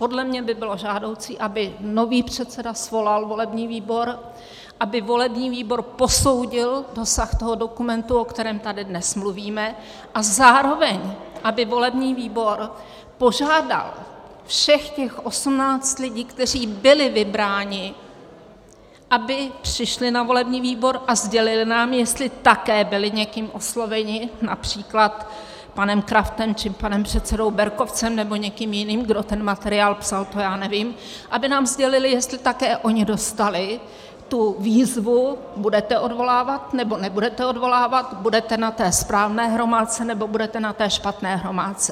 Podle mě by bylo žádoucí, aby nový předseda svolal volební výbor, aby volební výbor posoudil dosah toho dokumentu, o kterém tady dnes mluvíme, a zároveň aby volební výbor požádal všech těch 18 lidí, kteří byli vybráni, aby přišli na volební výbor a sdělili nám, jestli také byli někým osloveni, například panem Kraftem, nebo panem předsedou Berkovcem, nebo někým jiným, kdo ten materiál psal, to já nevím, aby nám sdělili, jestli také oni dostali tu výzvu: budete odvolávat, nebo nebudete odvolávat, budete na té správné hromádce, nebo budete na té špatné hromádce.